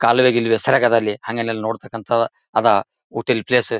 ಕಾಲುವೆ ಗಿಲುವೆ ಸರಾಗದ ಅಲ್ಲಿ ಹಂಗೆನ ಇಲ್ಲ ನೋಡ್ತಕ್ಕಂಥ ಅದಾವ ಊಟಿಲಿ ಪ್ಲೇಸ್ .